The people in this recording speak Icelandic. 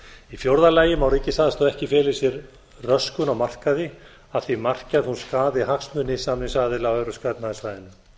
í fjórða lagi má ríkisaðstoð ekki fela í sér röskun á markaði að því marki að hún skaði hagsmuni samningsaðila á evrópska efnahagssvæðinu